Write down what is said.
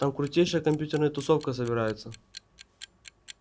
там крутейшая компьютерная тусовка собирается